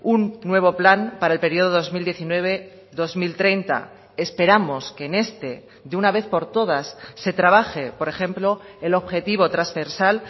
un nuevo plan para el periodo dos mil diecinueve dos mil treinta esperamos que en este de una vez por todas se trabaje por ejemplo el objetivo transversal